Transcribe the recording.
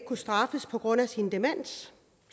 kunne straffes på grund af sin demens